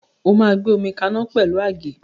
O máa gbé omi kaná pẹ̀lú àgé.